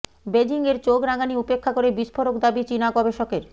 বেজিংয়ের চোখ রাঙানি উপেক্ষা করে বিস্ফোরক দাবি চিনা গবেষকের